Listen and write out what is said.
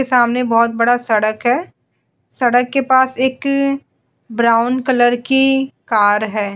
सामने बोहोत बड़ा सड़क है। सड़क के पास एक ब्राउन कलर की कार है।